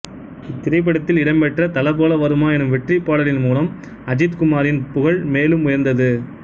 இத்திரைப்படத்தில் இடம்பெற்ற தல போல வருமா எனும் வெற்றிப் பாடலின் மூலம் அஜித் குமாரின் புகழ் மேலும் உயர்ந்தது